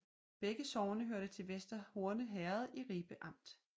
Begge sogne hørte til Vester Horne Herred i Ribe Amt